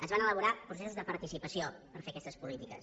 es van elaborar processos de participació per fer aquestes polítiques